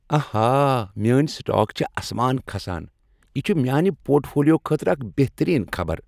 آہا، میٲنۍ سٹاک چھ آسمان کھسان۔ یہ چھ میٛانہ پورٹ فولیو خٲطرٕ اکھ بہترین خبر۔